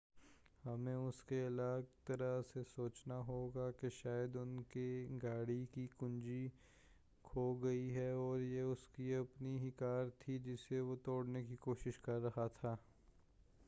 ہمیں اسکے الگ طرح سے سوچنا ہوگا کہ شاید ان کے گاڑی کی کنجی کھو گئی ہے اور یہ اسکی اپنی ہی کار تھی جسے وہ توڑنے کی کوشش کر رہا تھا